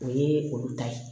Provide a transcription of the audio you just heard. O ye olu ta ye